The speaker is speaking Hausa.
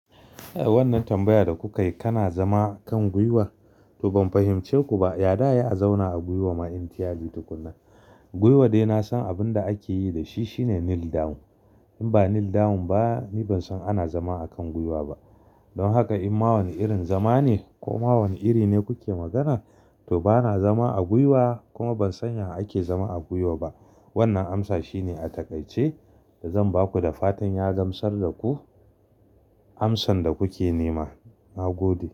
Eh, wannan tambayar da kuka yi kana zama kan gwiwa to ban fahimci ku ba ai Ya za'a yi a zauna a gwiwa ma entirely tukunna. Gwiwa dai na san abin da ake yi da shi shine kneel down. In ba kneel down ba, ni ban san ana zama a kan gwiwa ba. Don haka in ma wani irin zama ne ko ma wani iri ne kuke magana, to bana zama a gwiwa kuma ban san ya ake zama a gwiwa ba. Wannan amsa shine a takaice da zan ba ku da fatan ya gamsar da ku amsan da kuke nema. Na gode.